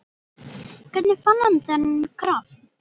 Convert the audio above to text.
Hvernig fann hann þennan kraft?